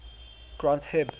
granth hib